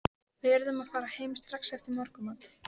Við urðum að fara heim strax eftir morgunmat.